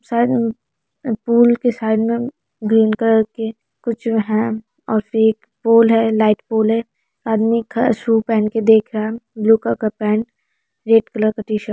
side में पुल के साइड में ग्रीन कलर के कुछ है और एक पुल है लाइट पोल है आदमी शू पहन के देख रहा है ब्लू कलर का पैंट रेड कलर का टी-शर्ट --